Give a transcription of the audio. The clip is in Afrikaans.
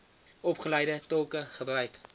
opgeleide tolke gebruik